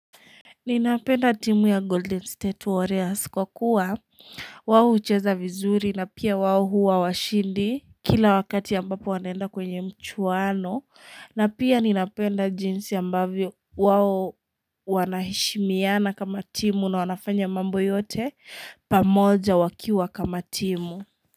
Ninapenda timu ya Golden State Warriors kwa kuwa wao hucheza vizuri na pia wao huwa washindi kila wakati ambapo wanaenda kwenye mchuano, na pia ninapenda jinsi ambavyo wao wanaheshimiana kama timu na wanafanya mambo yote pamoja wakiwa kama timu.